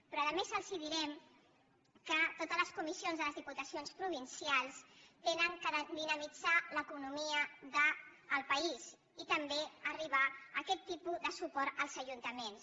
però a més els direm que totes les comissions de les diputacions provincials han de dinamitzar l’economia del país i també arribar a aquest tipus de suport als ajuntaments